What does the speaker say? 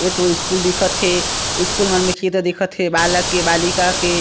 एतो स्कूल दिखत थे स्कूल मन में की तो दिखत हे बालक के बालिका के--